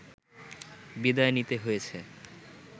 বিদায় নিতে হয়েছে